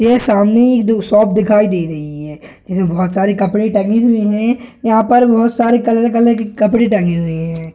ये सामने ही दो शॉप दिखाई दे रहीं हैं इसमें बहुत सारे कपड़े टंगे हुए हैं वहाँ पर बहुत सारे के कपड़े टंगे हुएं हैं।